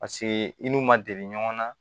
Paseke i n'u ma deli ɲɔgɔn na